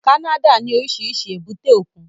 Canada ní oríṣiríṣi èbúté òkun